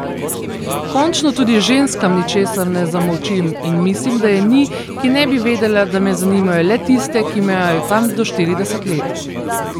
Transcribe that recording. Končno tudi ženskam ničesar ne zamolčim in mislim, da je ni, ki ne bi vedela, da me zanimajo le tiste, ki imajo tam do štirideset let.